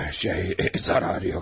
Şey, zərəri yoxdur əfəndim.